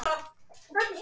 Púkinn kemur upp í henni.